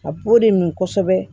A b'o de min kosɛbɛ